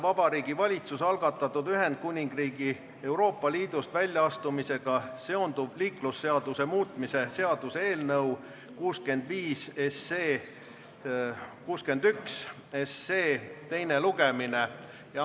Vabariigi Valitsuse algatatud Ühendkuningriigi Euroopa Liidust väljaastumisega seonduv liiklusseaduse muutmise seaduse eelnõu 61 teine lugemine.